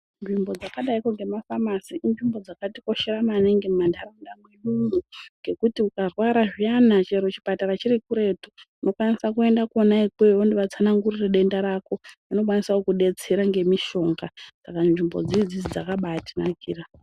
Nzvimbo dzakadaikwo ngemafamasi inzvimbo dzakatikoshera maningi mumantaraunda mwedu ngekuti ukarwara zviyana chero chipatara chiri kuretu unokwanisa kuenda kwona ikweyo wondovatsanangurira denda rako vanokwanisa kukudetsera ngemishonga Saka nzvimbo dzidzi dzakabatinakira.